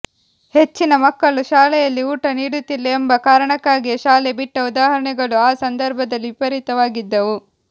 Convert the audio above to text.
ಹೆಚ್ಚಿನ ಮಕ್ಕಳು ಶಾಲೆಯಲ್ಲಿ ಊಟ ನೀಡುತ್ತಿಲ್ಲ ಎಂಬ ಕಾರಣಕ್ಕಾಗಿಯೇ ಶಾಲೆ ಬಿಟ್ಟ ಉದಾಹರಣೆಗಳು ಆ ಸಂದರ್ಭದಲ್ಲಿ ವಿಪರೀತವಾಗಿದ್ದವು